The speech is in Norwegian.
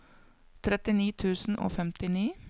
trettini tusen og femtini